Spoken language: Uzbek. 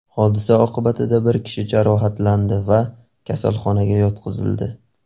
Hodisa oqibatida bir kishi jarohatlandi va kasalxonaga yotqizildi.